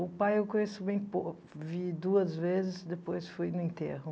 O pai eu conheço bem pouco, vi duas vezes, depois fui no enterro.